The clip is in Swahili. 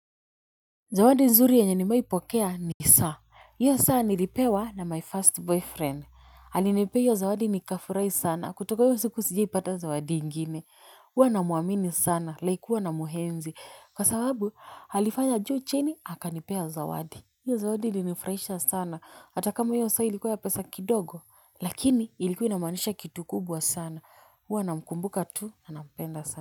Zawadi nzuri yenye nimewai pokea ni saa. Hiyo saa nilipewa na my first boyfriend. Alinipea hiyo zawadi nikafurai sana. Kutoka hiyo siku sijiaipata zawadi ingine. Huwa na muamini sana. Like huwa na muhenzi. Kwa sababu halifanya juu chini hakanipea zawadi. Hiyo zawadi ilinifraisha sana. Atakama hiyo saa ilikuwa ya pesa kidogo. Lakini ilikuwa inamanisha kitu kubwa sana. Huwa na mkumbuka tu na napenda sana.